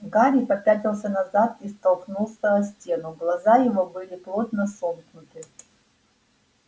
гарри попятился назад и стукнулся о стену глаза его были плотно сомкнуты